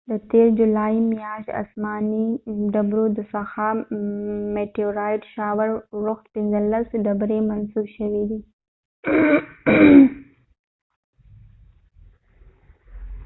د تیر جولای میاشت د اسمانی ډبرو د ورښتmeteorite shower څخه پنځلس ډبری منسوب شوي دي